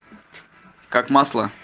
как масло